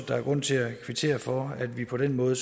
der er grund til at kvittere for at vi på den måde